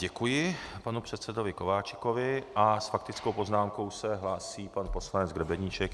Děkuji panu předsedovi Kováčikovi a s faktickou poznámkou se hlásí pan poslanec Grebeníček.